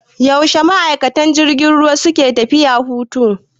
Yaushe ma'aikatan jirgin ruwa suke tafiya hutu?